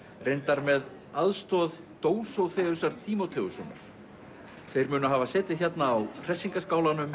reyndar með aðstoð Dósóþeusar Tímóteussonar þeir munu hafa setið hérna á